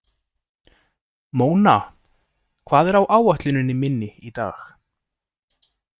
Móna, hvað er á áætluninni minni í dag?